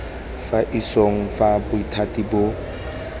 fa isong fa bothati boo